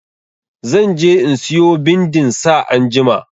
Zan je in siyo bindin sa anjima.